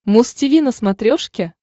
муз тиви на смотрешке